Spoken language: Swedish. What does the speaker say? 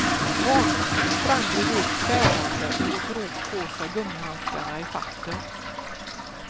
Barnmorskan sprang bredvid svärande och drog på sig gummihandskarna i farten.